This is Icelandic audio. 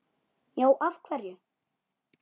Já, af hverju?